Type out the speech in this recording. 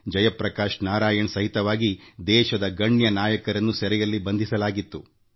ಜಯಪ್ರಕಾಶ್ ನಾರಾಯಣ್ ಸೇರಿದಂತೆ ದೇಶದ ಗಣ್ಯಾತಿಗಣ್ಯ ನಾಯಕರನ್ನು ಕಾರಾಗೃಹದಲ್ಲಿ ಬಂಧಿಸಿಡಲಾಗಿತ್ತು